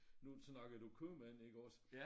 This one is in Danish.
Nu snakkede du købmand ikke også